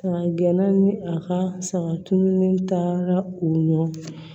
A gɛna ni a ka saga tununi taara u nɔfɛ